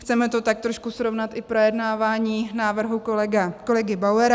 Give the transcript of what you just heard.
Chceme to tak trošku srovnat i s projednáváním návrhu kolegy Bauera.